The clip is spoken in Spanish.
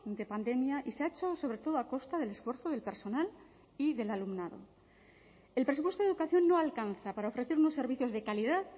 de pandemia y se ha hecho sobre todo a costa del esfuerzo del personal y del alumnado el presupuesto de educación no alcanza para ofrecer unos servicios de calidad